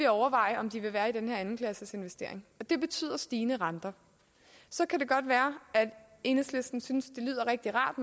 overveje om de vil være i den her andenklasses investering og det betyder stigende renter så kan det godt være at enhedslisten synes det lyder rigtig rart